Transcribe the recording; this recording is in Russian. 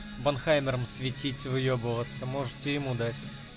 банхаммером светить выебываться можете ему дать